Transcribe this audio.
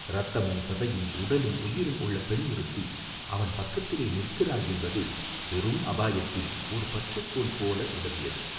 இரத்தமும், சதையும், உடலும், உயிரும், உள்ள பெண் ஒருத்தி அவன் பக்கத்தில் நிற்கிறாள் என்பது பெரும் அபாயத்தில் ஒரு பற்றுக்கோல் போல உதவியது.